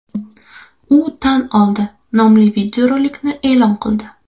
U tan oldi” nomli videorolikni e’lon qildi.